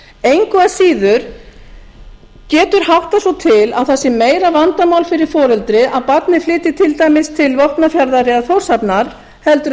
engu að síður getur háttað svo til að það sé meira vandamál fyrir foreldri að barnið flytji til dæmis til vopnafjarðar eða þórshafnar heldur